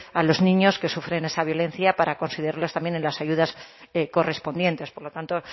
a los niños que sufren esa violencia para concederles también las ayudas correspondientes por lo tanto